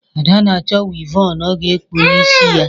Ada na-achọ wịvọnụ ọ ga-ekpu n’isi ya